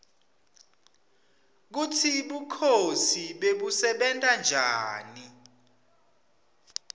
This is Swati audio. kutsi bukhosi bebusebenta njani